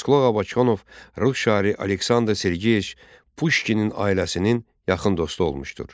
Abbasqulu Ağa Bakıxanov rus şairi Aleksandr Sergeeviç Puşkinin ailəsinin yaxın dostu olmuşdur.